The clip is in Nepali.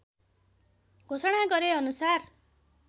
घोषणा गरे अनुसार